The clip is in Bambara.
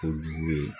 Kojugu ye